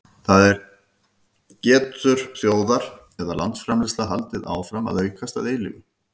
það er getur þjóðar eða landsframleiðsla haldið áfram að aukast að eilífu